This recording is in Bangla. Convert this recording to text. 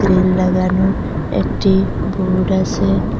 গ্রিল লাগানো একটা বোর্ড আসে।